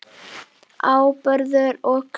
Áburður og krem